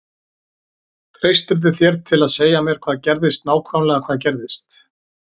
Treystirðu þér til að segja mér hvað gerðist nákvæmlega hvað gerðist?